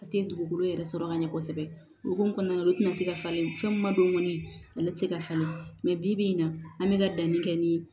A tɛ dugukolo yɛrɛ sɔrɔ ka ɲɛ kosɛbɛ o hukumu kɔnɔna na olu tɛna se ka falen fɛn min ma don kɔni ale tɛ se ka falen mɛ bi in na an bɛ ka danni kɛ ni